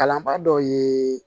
Kalanbaa dɔ ye